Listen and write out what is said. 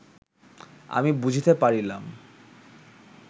আমি বুঝিতে পারিলাম